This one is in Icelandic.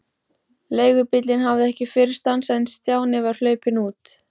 Leigubíllinn hafði ekki fyrr stansað en Stjáni var hlaupinn út.